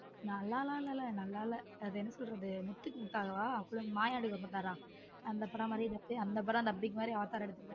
நல்ள்ளலாம் இல்ல நல்ல இல்ல அது என்ன சொல்றது முத்துக்கு முத்தாகவா அப்பரம் மாயாண்டி குடும்பத்தார் அந்த படம் மாதிரியே இருந்துச்சு அந்த படம் dubbing மாதிரி அவதார் எடுத்து இருந்தாங்க.